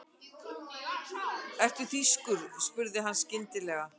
Ertu þýskur? spurði hann skyndilega.